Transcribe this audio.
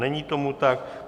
Není tomu tak.